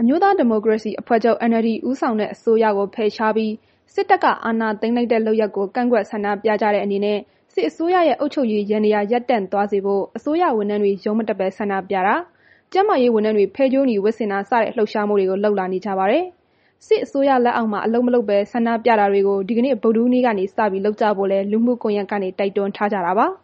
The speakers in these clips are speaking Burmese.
အမျိုးသားဒီမိုကရေစီအဖွဲ့ချုပ် NLD ဦးဆောင်တဲ့ အစိုးရကို ဖယ်ရှားပြီး စစ်တပ်က အာဏာသိမ်းလိုက်တဲ့ လုပ်ရပ်ကို ကန့်ကွက် ဆန္ဒပြကြတဲ့ အနေနဲ့ စစ်အစိုးရရဲ့ အုပ်ချုပ်ရေးယန္တရား ရပ်တန့်သွားစေဖို့ အစိုးရဝန်ထမ်းတွေ ရုံးမတက်ဘဲ ဆန္ဒပြတာ၊ ကျန်းမာရေးဝန်ထမ်းတွေ ဖဲကြိုးနီဝတ်ဆင်တာစတဲ့ လှုပ်ရှားမှုတွေကို လုပ်လာနေကြပါတယ်။ စစ်အစိုးရလက်အောက်မှာ အလုပ်မလုပ်ဘဲ ဆန္ဒပြတာတွေကို ဒီကနေ့ ဗုဒ္ဓဟူးနေ့က စလုပ်ကြဖို့လည်း လူမှုကွန်ရက်တွေကနေ တိုက်တွန်းထားကြတာပါ။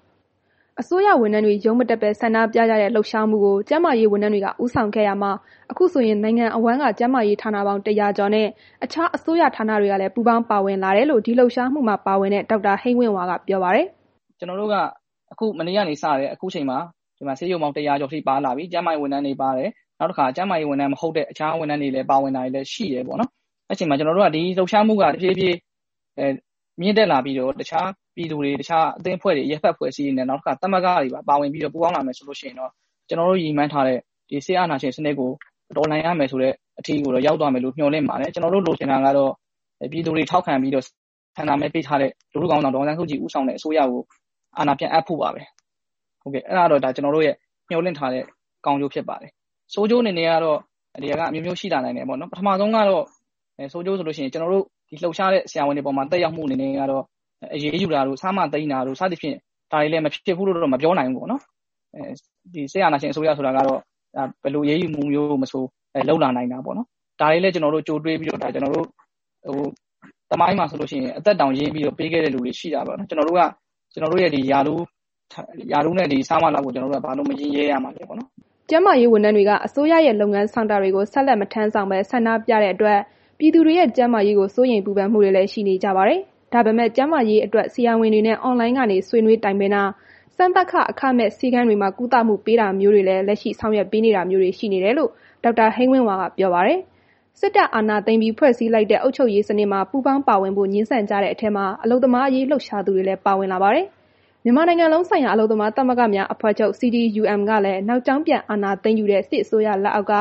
အစိုးရဝန်ထမ်းတွေ ရုံးမတက်ဘဲ ဆန္ဒပြကြတဲ့ လှုပ်ရှားမှုကို ကျန်းမာရေးဝန်ထမ်းတွေက ဦးဆောင်ခဲ့ရာမှာ အခုဆိုရင် နိုင်ငံအဝန်းက ကျန်းမာရေးဌာနပေါင်း ၁၀၀ ကျော်နဲ့ တခြားအစိုးရဌာနတွေလည်း ပူးပေါင်းပါဝင်လာကြောင်း ဒီလှုပ်ရှားမှုမှာ ပါဝင်တဲ့ ဒေါက်တာ ဟိန်းဝင့်ဝါက ပြောပါတယ်။ “ကျနော်တို့ အခု မနေ့ကနေ စတယ်။ အခုအချိန်မှာ ဆေးရုံပေါင်း ၁၀၀ ကျော်အထိပါလာပြီ။ ကျန်းမာရေးဝန်ထမ်းတွေ ပါတယ်။ နောက်တစ်ခါ ကျန်းမာရေးဝန်ထမ်း မဟုတ်တဲ့ အခြားဝန်ထမ်းတွေလည်း ပါဝင်လာတာ ရှိတယ်ပေါ့နော်။ အဲ့ဒီတော့ ဒီလှုပ်ရှားမှုက တဖြည်းဖြည်း မြင့်တက်လာပြီးတော့ တခြားပြည်သူတွေ၊ တခြား အရပ်ဘက် အဖွဲ့အစည်းတွေ၊ သမဂ္ဂ တို့ ပူးပေါင်းလာမယ်ဆိုရင်တော့ ကျနော်တို့ ရည်မှန်းထားတဲ့ စစ်အာဏာရှင်စနစ်ကို တော်လှန်နိုင် မယ်ဆိုတဲ့ အထိတော့ ရောက်သွားမယ်လို့ မျှော်လင့်ပါတယ်။ ကျနော်တို့ လိုချင်တာကတော့ ပြည်သူတွေထောက်ခံပြီး ဆန္ဒမဲပေးထားတဲ့ ဒေါ်အောင်ဆန်းစုကြည်အစိုးရကို အာဏာပြန်အပ်ဖို့ပါပဲ။ ဒါကတော့ ကျနော်တို့ မျှော်လင့်ထားတဲ့ ကောင်းကျိုးဖြစ်ပါတယ်။ ဆိုးကျိုးအနေနဲ့က အမျိုးမျိုးရှိ လာနိုင်တယ်ပေါ့လေ။ ပထမဆုံးကတော့ ကျနော်တို့ လှုပ်ရှားတဲ့ ဆရာဝန်တွေအပေါ်မှာ သက်ရောက်မှု အနေနဲ့ကတော့ အရေးယူတာတို့၊ ဆ/မ သိမ်းတာတို့ ဒါတွေကလည်း မဖြစ်နိုင်ဘူးလို့ မပြောနိုင်ဘူးပေါ့နော်။ စစ်အာဏာရှင် အစိုးဆိုတာကတော့ ဘယ်လို အရေးယူမှုမျိုးကိုမဆို လုပ်လာ နိုင်တာပေါ့။ ဒါတွေကိုလည် ကျနော်တို့ ကြိုတွေးပြီးတော့ သမိုင်းမှာဆိုရင် အသက်တောင်ရင်းပြီး ပေးခဲ့တဲ့ သူတွေရှိတာပဲ။ ကျနော်တို့က ဒီ ရာထူးနဲ့ ဆ/မ လောက်ကို ဘာလိုမရင်းရဲရမှာလဲ။” ကျန်းမာရေးဝန်ထမ်းတွေက အစိုးရရဲ့ လုပ်ငန်းဆောင်တာတွေကို ဆက်လက် မထမ်းဆောင်ပဲ ဆန္ဒပြတဲ့အတွက် ပြည်သူတွေရဲ့ ကျန်းမာရေးကို စိုးရိမ်ပူပန်မှုတွေလည်း ရှိနေကြပါတယ်။ ဒါပေမဲ့ ကျန်းမာရေးအတွက် ဆရာဝန်တွေနဲ့ အွန်လိုင်းကနေ ဆွေးနွေးတိုင်ပင်တာ၊ စမ်းသပ်ခ အခမဲ့နဲ့ ဆေးခန်းတွေမှာ ကုသမှုပေးတာမျိုးတွေ လက်ရှိဆောင်ရွက်ပေးတာမျိုးတွေ ရှိနေတယ်လို့ ဒေါက်တာ ဟိန်းဝင့်ဝါက ပြောပါတယ်။ စစ်တပ်ကအာဏာသိမ်းပြီး ဖွဲ့စည်းလိုက်တဲ့ အုပ်ချုပ်ရေးစနစ်မှာ ပူးပေါင်းပါဝင်ဖို့ ငြင်းဆန်ကြတဲ့အထဲမှာ အလုပ်သမားရေး လှုပ်ရှားသူတွေလည်း ပါဝင်လာပါတယ်။ မြန်မာနိုင်ငံလုံးဆိုင်ရာ အလုပ်သမားသမဂ္ဂများ အဖွဲ့ချုပ် ကလည်း နောက်ကြောင်းပြန် အာဏာသိမ်းယူတဲ့ စစ်အစိုးရလက်အောက်က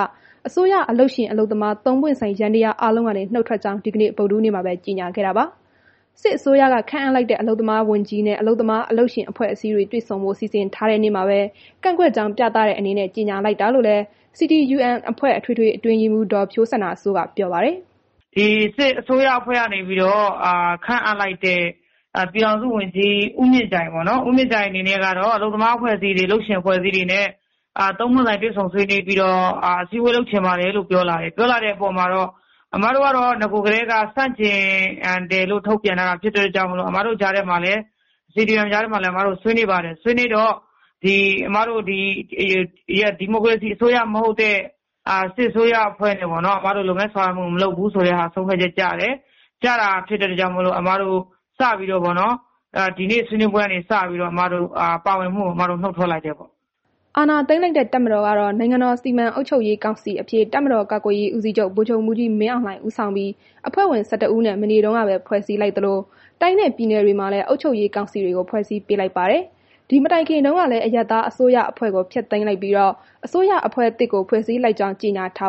အစိုးရ အလုပ်ရှင် အလုပ်သမား သုံးပွင့်ဆိုင် ယန္တရားအားလုံးကနေ နုတ်ထွက်ကြောင်း ဒီကနေ့ ဗုဒ္ဓဟူးနေ့မှာပဲ ကြေညာခဲ့တာပါ။ စစ်အစိုးရက ခန့်အပ်လိုက်တဲ့ အလုပ်သမားဝန်ကြီးနဲ့ အလုပ်သမား၊ အလုပ်ရှင်အဖွဲ့အစည်းတွေ တွေ့ဆုံဖို့ စီစဉ်ထားတဲ့နေ့မှာပဲ ကန့်ကွက်ကြောင်း ပြသတဲ့အနေနဲ့ ကြေညာလိုက်တာလို့လည်း CTUM အဖွဲ့ အထွေထွေအတွင်းရေးမှူး ဒေါ်ဖြိုးစန္ဒာစိုးက ပြောပါတယ်။ “ဒီစစ်အစိုးရအဖွဲ့က ခန့်အပ်လိုက်တဲ့ ပြည်ထောင်စုဝန်ကြီး ဦးမြင့်ကြိုင်အနေနဲ့ကတော့ အလုပ်သမားအဖွဲ့အစည်း၊ အလုပ်ရှင်အဖွဲ့အစည်းတွေနဲ့ တွေ့ဆုံဆွေးနွေးပြီးတော့ အစည်းအဝေးလုပ်ချင်တယ်လို့ ပြောလာတယ်။ အဲ့ဒီအပေါ်မှာတော့ ကျမတို့က အစကတည်းက ဆန့်ကျင်တယ်လို့ ထုတ်ပြန်ထားတာကြောင့်မို့လို့ ကျမတို့ CTUM ထဲမှာလည်း ဆွေးနွေးပါတယ်။ ဆွေးနွေးတော့ ကျမတို့ ဒီမိုကရေစီ အစိုးရမဟုတ်တဲ့ စစ်အစိုးရနဲ့ လုပ်ငန်းတွေ ပူးပေါင်းဆောင်ရွက်မှု မလုပ်ဘူးဆိုတဲ့ ဆုံးဖြတ်ချက်ကျတယ်။ ကျတာဖြစ်တဲ့အတွက်ကြောင့်မို့လို့ စပြီးတော့ ဒီနေ့ဆွေးနွေးပွဲကနေ စပြီးတော့ ကျမတို့ နုတ်ထွက်လိုက်တယ်ပေါ့။” အာဏာသိမ်းလိုက်တဲ့ တပ်မတော်ကတော့ နိုင်ငံတော်စီမံအုပ်ချုပ်ရေးကောင်စီအဖြစ် တပ်မတော်ကာကွယ်ရေးဦးစီးချုပ် ဗိုလ်ချုပ်မှူးကြီး မင်းအောင်လှိုင် ဦးဆောင်ပြီး အဖွဲ့ဝင် ၁၁ ဦးနဲ့ မနေ့တုန်းကပဲ ဖွဲ့စည်းလိုက်သလို တိုင်းနဲ့ပြည်နယ်မှာလည်း အုပ်ချုပ်ရေးကောင်စီတွေကို ဖွဲ့စည်းပေးလိုက်ပါတယ်။ ဒီမတိုင်ခင်မှာတုန်းကလည်း အရပ်သားအစိုးရအဖွဲ့ကို ဖျက်သိမ်းလိုက်ပြီး အစိုးရအဖွဲ့သစ်ကို ဖွဲ့စည်းလိုက်ကြောင်းလည်း ကြေညာထာ